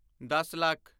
ਦੱਸ ਲੱਖ